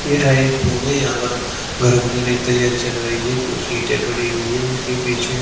यह एक होम है यहाँ पर घर बनाने की तैयारी चल रही है कुछ ईटें पड़ी हुई हैं उसके पीछे--